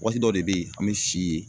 Waati dɔ de be ye an bɛ si ye